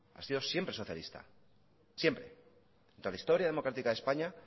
ha sido siempre socialista siempre en la historia democrática de españa